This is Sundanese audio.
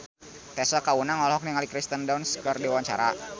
Tessa Kaunang olohok ningali Kirsten Dunst keur diwawancara